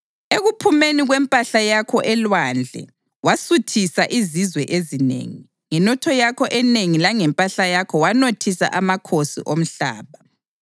Ekuphumeni kwempahla yakho elwandle wasuthisa izizwe ezinengi; ngenotho yakho enengi langempahla yakho wanothisa amakhosi omhlaba.